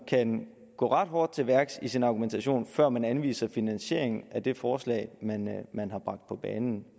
kan gå ret hårdt til værks i sin argumentation før man anviser finansieringen af det forslag man har bragt på banen